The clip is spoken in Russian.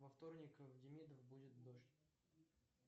во вторник в демидов будет дождь